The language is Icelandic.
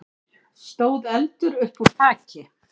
stóð eldur uppúr þaki.